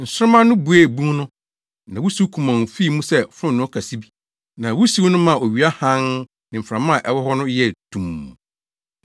Nsoromma no buee bun no, na wusiw kumɔnn fii mu sɛ fononoo kɛse bi, na wusiw no maa owia hann ne mframa a ɛwɔ hɔ no yɛɛ tumm.